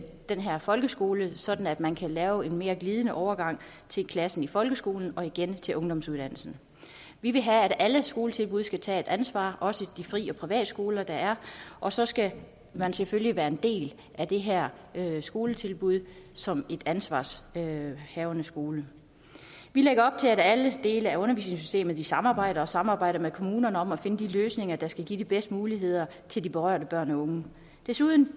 den her folkeskole sådan at man kan lave en mere glidende overgang til klassen i folkeskolen og igen til ungdomsuddannelsen vi vil have at alle skoletilbud skal tage et ansvar også de fri og privatskoler der er og så skal man selvfølgelig være en del af det her skoletilbud som en ansvarshavende skole vi lægger op til at alle dele af undervisningssystemet samarbejder og samarbejder med kommunerne om at finde de løsninger der skal give de bedste muligheder til de berørte børn og unge desuden